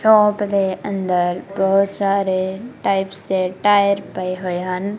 Shop ਦੇ ਅੰਦਰ ਬਹੁਤ ਸਾਰੇ ਟਾਈਪਸ ਦੇ ਟਾਇਰ ਪਏ ਹੋਏ ਹਨ।